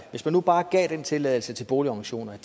hvis man nu bare gav den tilladelse til boligorganisationerne